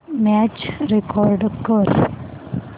match record कर